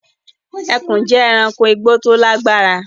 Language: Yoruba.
Ẹ̀kùn jẹ́ èránkò igbó tó lágbára